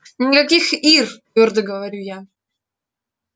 никаких ир твёрдо говорю я